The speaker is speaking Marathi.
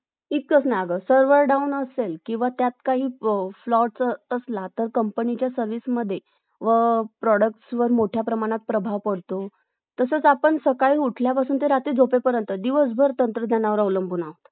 इतकच काय अगं Server Down असेल किंवा त्यात काही Flow असेल असला तर कंपनीच्या Service मध्ये व Product वर मोठ्या प्रमाणात प्रभाव पडतो तसंच आपण सकाळी उठल्यापासून ते रात्री झोपेपर्यंत दिवसभर तंत्रज्ञानावर अवलंबून आहोत